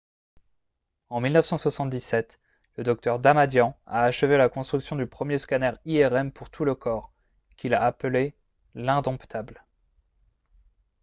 en 1977 le dr. damadian a achevé la construction du premier scanner irm pour tout le corps qu'il a appelé « l'indomptable »